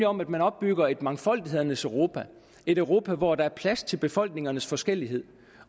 om at man opbygger et mangfoldighedernes europa et europa hvor der er plads til befolkningernes forskellighed